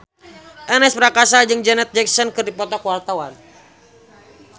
Ernest Prakasa jeung Janet Jackson keur dipoto ku wartawan